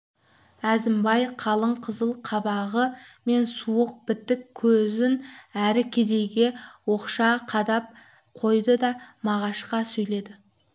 әзімбай қалың қызыл қабағы мен суық бітік көзін әр кедейге оқша қадап қойды да мағашқа сөйледі